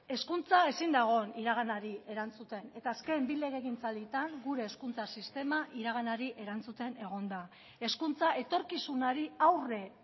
hezkuntza ezin da egon iraganari erantzuten eta azken bi legegintzaldietan gure hezkuntza sistema iraganari erantzuten egon da hezkuntza etorkizunari aurre